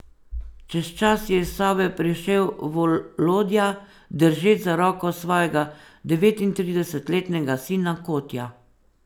Čez čas je iz sobe prišel Volodja, držeč za roko svojega devetintridesetletnega sina Kotja.